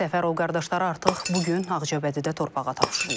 Səfərov qardaşları artıq bu gün Ağcabədidə torpağa tapşırılıb.